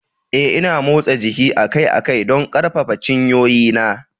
Eh, Ina motsa jiki akai-akai don ƙarfafa cinyoyina.